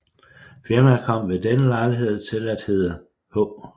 Firmaet kom ved denne lejlighed til at hedde H